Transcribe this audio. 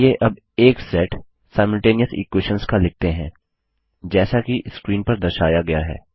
चलिए अब एक सेट सिमल्टेनियस इक्वेशंस का लिखते हैं जैसा की स्क्रीन पर दर्शाया गया है